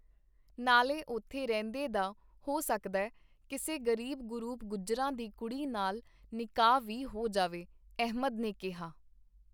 ਨਾਲੇ ਉੱਥੇ ਰਹਿੰਦੇ ਦਾ ਹੋ ਸਕਦੈ ਕਿਸੇ ਗ਼ਰੀਬ ਗ਼ਰੂਬ ਗੁੱਜਰਾਂ ਦੀ ਕੁੜੀ ਨਾਲ ਨਿਕਾਹ ਵੀ ਹੋ ਜਾਵੇ, ਅਹਿਮਦ ਨੇ ਕੀਹਾ.